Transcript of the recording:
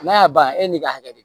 N'a y'a ban e n'i ka hakɛ don